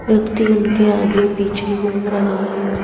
व्यक्ति उनके आगे पीछे घूम रहा है।